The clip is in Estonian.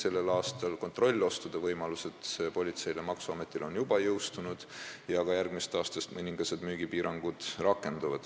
a, politsei ja maksuameti kontrollostude võimalus on juba jõustunud ja järgmisest aastast rakenduvad mõningased müügipiirangud.